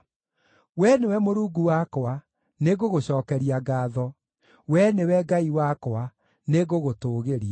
Wee nĩwe Mũrungu wakwa, nĩngũgũcookeria ngaatho; Wee nĩwe Ngai wakwa, nĩngũgũtũũgĩria.